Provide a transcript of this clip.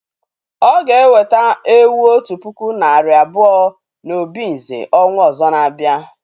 O ga eweta ewu otu puku nari abuo na obinze ọnwa ọzọ na abia